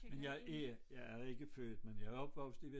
Men jeg er jeg er ikke født men jeg er opvokset i